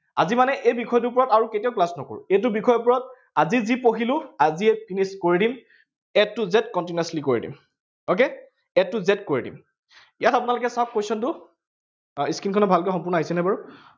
আজি মানে এই বিষয়টোৰ ওপৰত আৰু কেতিয়াও class নকৰো, এইটো বিষয়ৰ ওপৰত আজি যি পঢ়িলো, আজিয়েই finished কৰি দিম। a to z continuously কৰি দিম। okay, a to z কৰি দিম। ইয়াত আপোনালোকে চাওঁক question টো, আহ screen খনত ভালকে, সম্পূৰ্ণ আহিছেনে বাৰু?